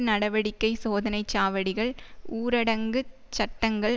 நடவடிக்கை சோதனை சாவடிகள் ஊரடங்கு சட்டங்கள்